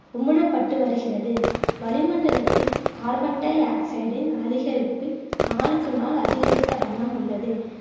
உமிழப்பட்டு வருகிறது வளிமண்டலத்தில் கார்பன் டையாக்சைடின் அதிகரிப்பு நாளுக்கு நாள் அதிகரித்த வண்ணம் உள்ளது